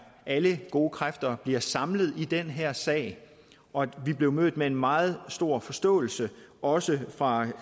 alle gode kræfter bliver samlet i den her sag og at vi blev mødt med en meget stor forståelse også fra